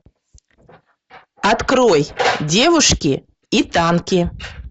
открой девушки и танки